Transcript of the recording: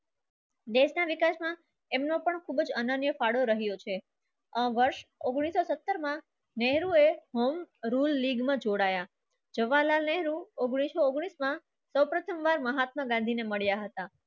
એમનો પણ ખૂબ જ અનન્ય ફાળો રહ્યો છે. આ વર્ષ ઉંગ્નીસ સો સત્રહ માં નહેરુએ form rule league માં જોડાયા જવાહારલાલ નહેરુ ઉંગ્નીસ સો ઉંગ્નીસ માં સૌપ્રથમવાર મહાત્મા ગાંધીને મળ્યા હતા.